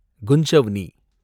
குஞ்சவ்னி